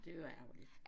Det var ærgerligt